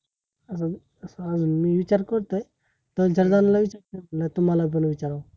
अं असा अजुन मी विचार करतोय, पण चांगला लय विचार केल, तुम्हाला बर विचाराव